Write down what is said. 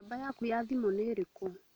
Namba yaku ya thimũnĩ ĩrĩkũ?